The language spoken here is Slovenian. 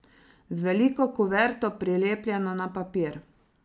Z veliko kuverto, prilepljeno na papir.